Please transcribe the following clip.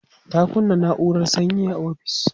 ta kunna naurar sanyi a ofis